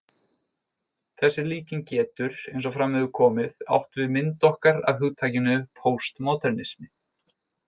Þessi líking getur, eins og fram hefur komið, átt við mynd okkar af hugtakinu póstmódernismi.